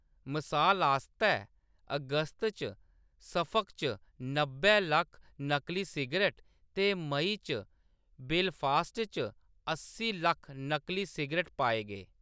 मसाल आस्तै, अगस्त च सफक च नब्बै लक्ख नकली सिगरट ते मेई च बेलफास्ट च अस्सी लक्ख नकली सिगरट पाए गे।